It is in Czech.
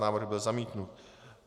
Návrh byl zamítnut.